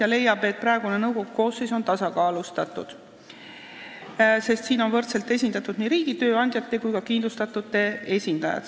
Ta leiab, et praegune nõukogu koosseis on tasakaalustatud, sest võrdselt on esindatud nii riigi, tööandjate kui ka kindlustatute esindajad.